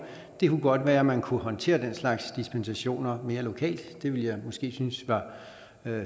godt være man kunne håndtere den slags dispensationer mere lokalt det vil jeg måske synes var